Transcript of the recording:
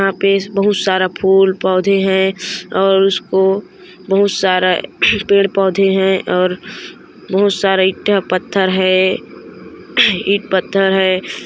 यहाँ पे बहुत सारा फुल पौधे है और उसको बहुत सारा पेड़ पौधे है और बहुत सारा ईटा-पत्थर है ईट-पत्थर है।